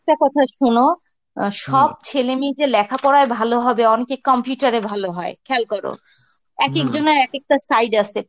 কথা শোনো অ্যাঁ সব ছেলে মেয়েই যে লেখা পড়ায় ভালো হবে, অনেকে computer এ ভালো হয় খেয়াল করো এক এক জনার এক একটা side আছে